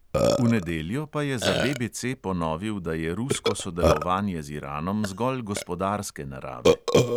V nedeljo pa je za BBC ponovil, da je rusko sodelovanje z iranom zgolj gospodarske narave.